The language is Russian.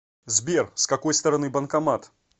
сбер с какой стороны банкомат